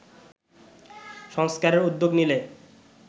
সংস্কারের উদ্যোগ নিলে